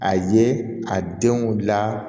A ye a denw la